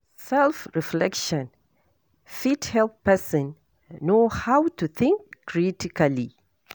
Self reflection fit help person know how to think critically